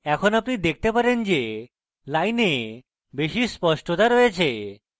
এখন আপনি দেখতে পারেন যে line বেশী স্পষ্টতা রয়েছে